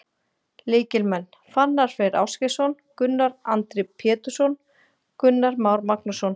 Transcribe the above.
Lykilmenn: Fannar Freyr Ásgeirsson, Gunnar Andri Pétursson, Gunnar Már Magnússon.